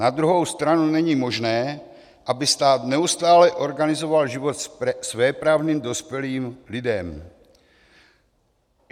Na druhou stranu není možné, aby stát neustále organizoval život svéprávným dospělým lidem.